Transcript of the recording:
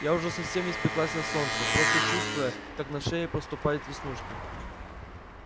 я уже совсем испеклась на солнце просто чувствую как на шее проступают веснушки